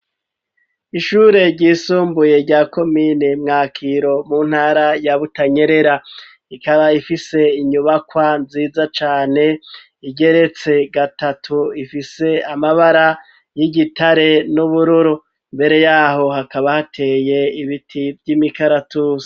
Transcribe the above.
Ishure ryisumbuye ya komini mwakiro mu ntara ya butanyerera ikaba ifise inyubakwa nziza cane igeretse gatatu ifise amabara y'igitare n'ubururu mbere yaho hakaba hateye ibiti vy'imikaratusi.